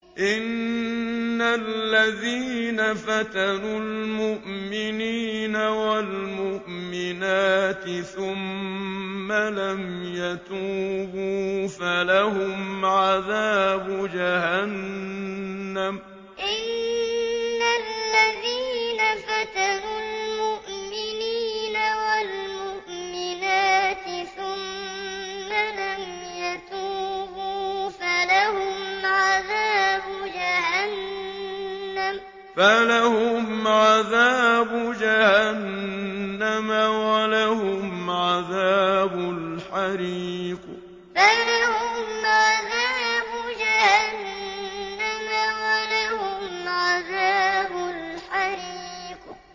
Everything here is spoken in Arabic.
إِنَّ الَّذِينَ فَتَنُوا الْمُؤْمِنِينَ وَالْمُؤْمِنَاتِ ثُمَّ لَمْ يَتُوبُوا فَلَهُمْ عَذَابُ جَهَنَّمَ وَلَهُمْ عَذَابُ الْحَرِيقِ إِنَّ الَّذِينَ فَتَنُوا الْمُؤْمِنِينَ وَالْمُؤْمِنَاتِ ثُمَّ لَمْ يَتُوبُوا فَلَهُمْ عَذَابُ جَهَنَّمَ وَلَهُمْ عَذَابُ الْحَرِيقِ